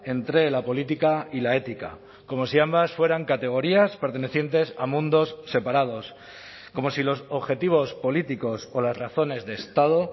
entre la política y la ética como si ambas fueran categorías pertenecientes a mundos separados como si los objetivos políticos o las razones de estado